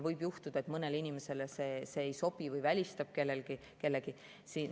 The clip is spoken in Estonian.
Võib juhtuda, et mõnele inimesele need ei sobi või need välistavad kellegi.